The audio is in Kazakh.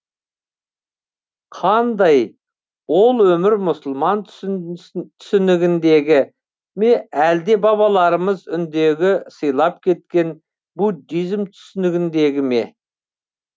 қандай ол өмір мұсылман түсінігіндегі ме әлде бабаларымыз үндіге сыйлап кеткен буддизм түсінігіндегі ме